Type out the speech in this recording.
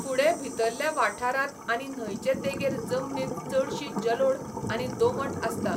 फुडें भितरल्या वाठारांत आनी न्हंयचे देगेर जमनींत चडशी जलोढ आनी दोमट आसता.